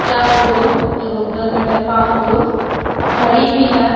चार गो एगो उधर बैठा है पाँच गो। घड़ी भी है।